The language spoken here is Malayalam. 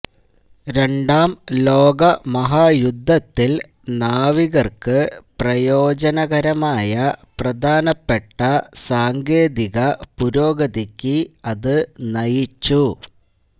രണ്ടാം ലോകമഹായുദ്ധത്തിൽ നാവികർക്ക് പ്രയോജനകരമായ പ്രധാനപ്പെട്ട സാങ്കേതിക പുരോഗതിക്ക് അത് നയിച്ചു